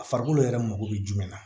A farikolo yɛrɛ mago bɛ jumɛn na